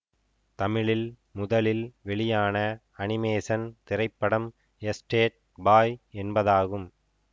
தமிழில் முதலில் வெளியான அனிமேஷன் திரைப்படம் எஸ்டேட் பாய் என்பதாகும்